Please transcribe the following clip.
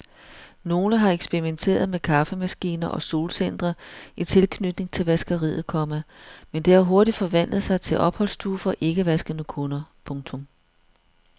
Nogle har eksperimenteret med kaffemaskiner og solcentre i tilknytning til vaskeriet, komma men det har hurtigt forvandlet sig til opholdsstue for ikkevaskende kunder. punktum